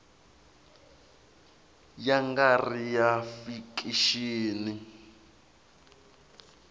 ya nga ri ya fikixini